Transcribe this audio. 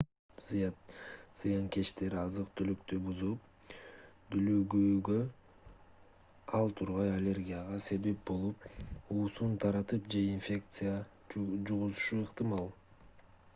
зыянкечтер азык-түлүктү бузуп дүүлүгүүгө ал тургай аллергияга себеп болуп уусун таратып же инфекция жугузушу ыктымал